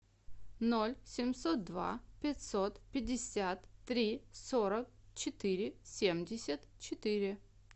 ноль семьсот два пятьсот пятьдесят три сорок четыре семьдесят четыре